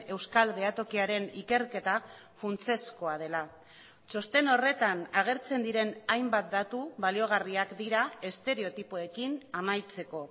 euskal behatokiaren ikerketa funtsezkoa dela txosten horretan agertzen diren hainbat datu baliogarriak dira estereotipoekin amaitzeko